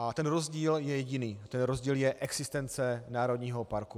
A ten rozdíl je jediný - ten rozdíl je existence národního parku.